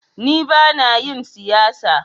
Ni bana yin siyasa.